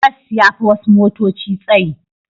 Bas ya fi wasu motoci tsayi.